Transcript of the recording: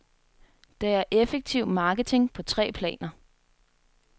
Det er effektiv marketing på tre planer.